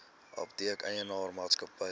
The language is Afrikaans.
apteek eienaar maatskappy